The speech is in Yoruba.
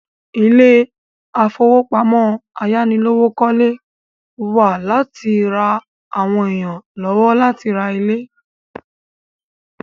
Ilé ìfowópamọ́ ayánilówókọ́lé wà láti ra àwọn èèyàn lọ́wọ́ láti ra ilé